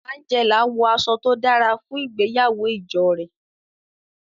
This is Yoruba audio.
Angela wọ aṣọ to dara fun ìgbéyàwó ijo rẹ.